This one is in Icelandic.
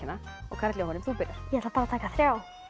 karl Jóhann þú byrjar ég ætla að taka þriðja